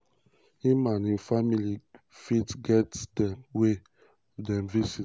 im and im family fit get wen dem visit.